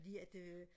fordi at øh